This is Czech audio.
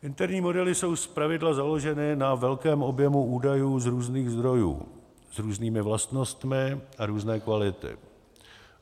Interní modely jsou zpravidla založeny na velkém objemu údajů z různých zdrojů, s různými vlastnostmi a různé kvality.